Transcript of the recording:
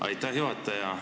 Aitäh, juhataja!